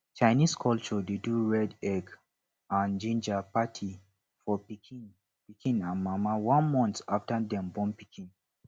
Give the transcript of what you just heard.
chinese culture de do red egg and ginger party for pikin pikin and mama one month after dem born pikin